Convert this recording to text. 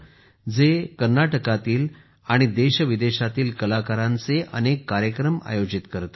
हे व्यासपीठ आज कर्नाटकातील आणि देशविदेशातील कलाकारांचे अनेक कार्यक्रम आयोजित करते